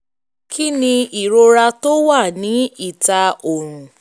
kí ni ìrora tó máa ń wà ní ìta ọrùn?